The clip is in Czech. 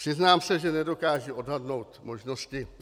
Přiznám se, že nedokážu odhadnout možnosti.